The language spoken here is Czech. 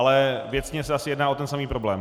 Ale věcně se asi jedná o ten samý problém.